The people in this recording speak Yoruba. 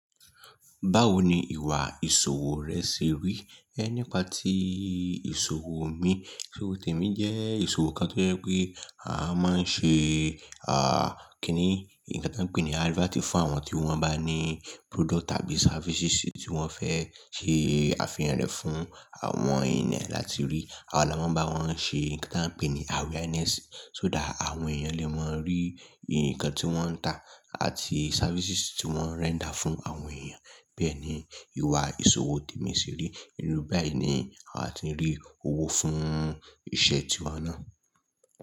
Báwo ni ìwà ìṣòwò rẹ ṣe rí? Ẹ nípa tí ìṣòwò mi, So temi jẹ́ ìṣòwò kan tó jẹ́ pé a máa ń ṣe, à, kíni, nǹkan tí a ń pè ní advertising fún àwọn tí wọ́n bá ní product tàbí services tí wọ́n fẹ́ ṣe àfihàn rẹ̀ fún àwọn ènìyàn láti rí. Àwa la máa ń bá wọn ṣe nǹkan tí a ń pè ní awareness, só dà àwọn èèyàn lè mọ̀ orí nǹkan tí wọ́n ń tà àti services tí wọ́n render fún àwọn èèyàn. Bẹ́ẹ̀ ni ìwà ìṣòwò Temi ṣe rí, inú báyìí ni àti ń rí owó fún iṣẹ́ tí wa náà.